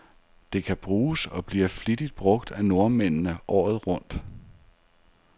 Det kan bruges, og bliver flittigt brug af nordmændene, året rundt.